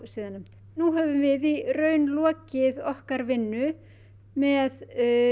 siðanefnd nú höfum við í raun lokið okkar vinnu með